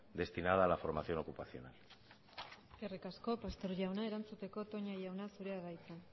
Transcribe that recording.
destinada a la formación ocupacional eskerrik asko pastor jauna erantzuteko toña jauna zurea da hitza